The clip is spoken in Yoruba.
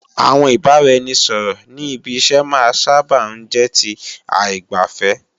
Àwọn ìbáraẹnisọ̀rọ̀ ní ibi iṣẹ́ máa sáábà ń jẹ́ ti aìgbàfẹ́